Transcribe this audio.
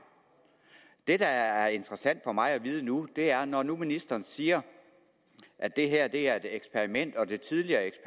det der er interessant for mig at vide nu er når nu ministeren siger at det her er et eksperiment og at det tidligere